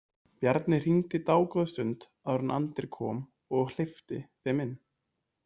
Bjarni hringdi dágóða stund áður en Andri kom og hleypti þeim inn.